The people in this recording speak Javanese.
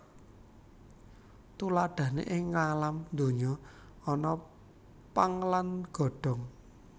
Tuladhané ing ngalam donya ana pang lan godhong